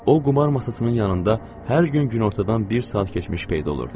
O qumar masasının yanında hər gün günortadan bir saat keçmiş peyda olurdu.